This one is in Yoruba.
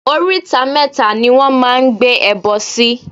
Oríta mẹ́ta ni wọ́n máa ń gbé ẹbọ sí.